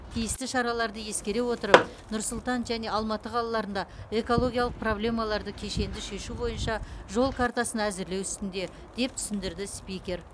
тиісті шараларды ескере отырып нұр сұлтан және алматы қалаларында экологиялық проблемаларды кешенді шешу бойынша жол картасын әзірлеу үстінде деп түсіндірді спикер